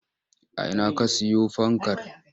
A ina ka siyo fankar?